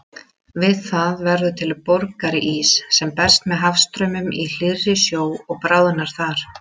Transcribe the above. Við það verður til borgarís sem berst með hafstraumum í hlýrri sjó og bráðnar þar.